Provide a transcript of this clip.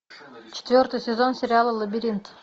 четвертый сезон сериала лабиринт